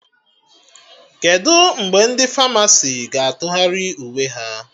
Kedụ mgbe ndị Famasi ga-atụgharị uwe ha?